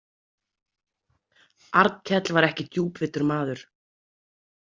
Arnkell var ekki djúpvitur maður.